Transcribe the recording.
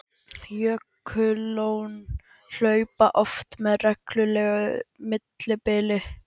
Jökullón hlaupa oft með reglulegu millibili.